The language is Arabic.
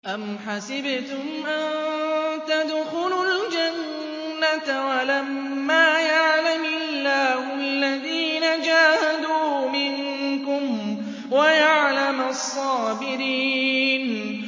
أَمْ حَسِبْتُمْ أَن تَدْخُلُوا الْجَنَّةَ وَلَمَّا يَعْلَمِ اللَّهُ الَّذِينَ جَاهَدُوا مِنكُمْ وَيَعْلَمَ الصَّابِرِينَ